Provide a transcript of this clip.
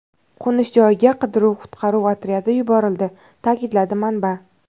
Qo‘nish joyiga qidiruv-qutqaruv otryadi yuborildi”, ta’kidladi manba.